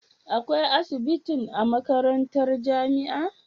Akwai asibitin a makarantar jamia